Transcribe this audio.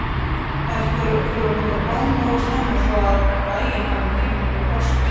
Þær þurfa að mynda blóm nógu snemma svo að fræin hafi tíma til að þroskast.